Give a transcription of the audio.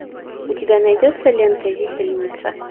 у тебя найдется лента висельница